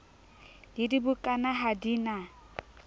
le dibukana ha di na